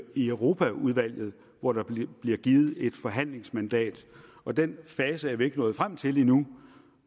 i europaudvalget hvor der bliver givet et forhandlingsmandat og den fase er vi ikke nået frem til endnu